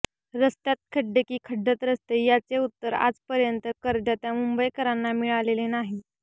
रस्त्यात खड्डे की खड्डय़ात रस्ते याचे उत्तर आजपर्यंत करदात्या मुंबईकरांना मिळालेले नाही